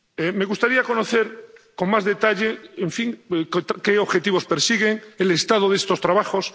Me gustaría conocer con más detalle qué objetivos persigue, el estado de estos trabajos...